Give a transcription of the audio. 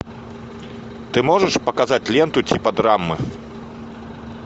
ты можешь показать ленту типа драмы